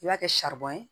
I b'a kɛ ye